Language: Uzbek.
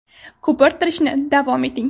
Ko‘pirtirishda davom eting.